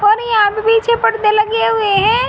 और यहां पे पर्दे लगे हुए है।